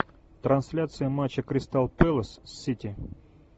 трансляция матча кристал пэлас с сити